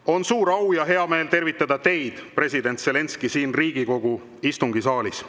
On suur au ja hea meel tervitada teid, president Zelenskõi, siin Riigikogu istungisaalis.